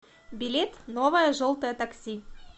билет новое желтое такси